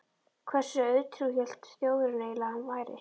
Hversu auðtrúa hélt Þjóðverjinn eiginlega að hann væri?